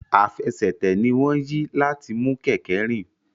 Àfẹsẹ̀tẹ̀ ní wón yí láti mú kéké rìn.